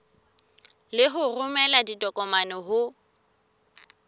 le ho romela ditokomane ho